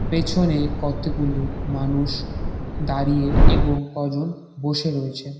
পেছনে কতগুলো মানুষ দাঁড়িয়ে এবং কজন বসে রয়েছে।